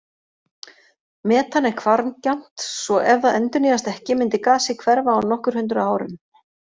Metan er hvarfgjarnt svo ef það endurnýjast ekki myndi gasið hverfa á nokkur hundruð árum.